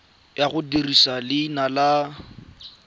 ya go dirisa leina la